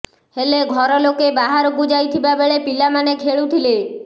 ହେଲେ ଘର ଲୋକେ ବାହାରକୁ ଯାଇଥିବା ବେଳେ ପିଲାମାନେ ଖେଳୁଥିଲେ